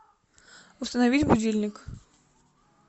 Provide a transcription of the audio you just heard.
установить будильник